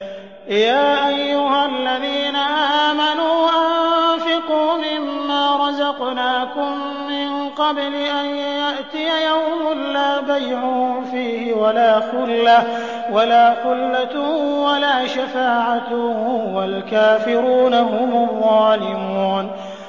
يَا أَيُّهَا الَّذِينَ آمَنُوا أَنفِقُوا مِمَّا رَزَقْنَاكُم مِّن قَبْلِ أَن يَأْتِيَ يَوْمٌ لَّا بَيْعٌ فِيهِ وَلَا خُلَّةٌ وَلَا شَفَاعَةٌ ۗ وَالْكَافِرُونَ هُمُ الظَّالِمُونَ